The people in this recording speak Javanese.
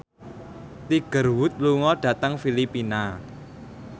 Tiger Wood lunga dhateng Filipina